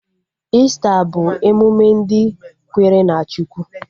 Ista bụ emụme ndị kwere na Chukwu